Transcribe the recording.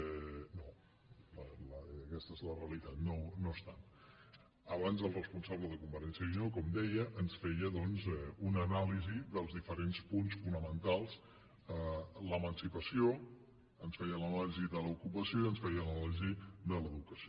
no aquesta és la realitat no ho estan abans el responsable de convergència i unió com deia ens feia una anàlisi dels diferents punts fonamentals l’emancipació ens feia l’anàlisi de l’ocupació i ens feia l’anàlisi de l’educació